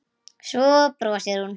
Svo brosir hún.